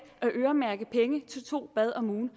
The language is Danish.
at øremærke penge til to bade om ugen